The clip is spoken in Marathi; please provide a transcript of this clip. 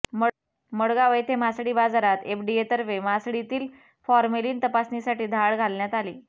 मडगाव येथे मासळी बाजारात एफडीएतर्फे मासळीतील फॉर्मेलिन तपासणीसाठी धाड घालण्यात आली